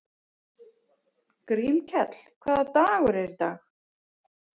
Grímkell, hvaða dagur er í dag?